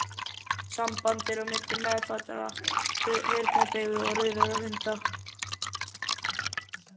Samband er á milli meðfæddrar heyrnardeyfu og rauðra hunda.